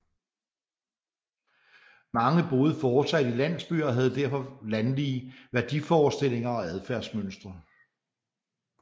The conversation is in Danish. Mange boede fortsat i landsbyer og havde derfor landlige værdiforestillinger og adfærdsmønstre